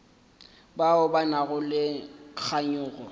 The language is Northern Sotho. bao ba nago le kganyogo